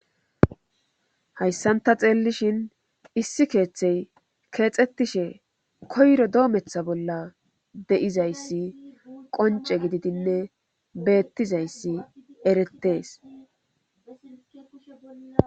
Hayssanta xeellishin issi keeththey keexettishe koyro doometha bolla de'izayssi qonce gididinne beettizayssi erettees